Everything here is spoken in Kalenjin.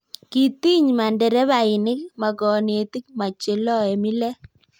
kitiny ma nderebainik, ma konetik, ma che loe mile.